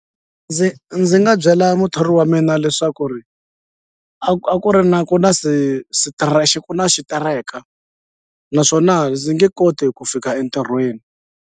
Ndzi ndzi nga byela muthori wa mina leswaku ri a a ku ri na ku na ku na xitereka naswona ndzi nge koti ku fika entirhweni.